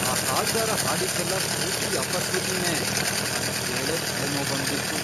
ಆ ಹಾಡ್ಗಾರ ಹಾಡಿದ್ದೆಲ್ಲ ಪೂರ್ತಿ ಅಪಶ್ರುತಿನೇ, ಅದ್ ಕೇಳೇ ತಲೆನೋವ್ ಬಂದ್ಬಿಡ್ತು.